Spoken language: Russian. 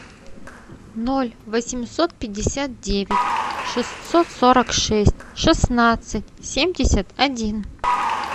ноль восемьсот пятьдесят девять шестьсот сорок шесть шестнадцать семьдесят один